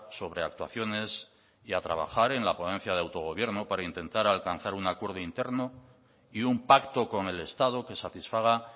sobreactuaciones y a trabajar en la ponencia de autogobierno para intentar alcanzar un acuerdo interno y un pacto con el estado que satisfaga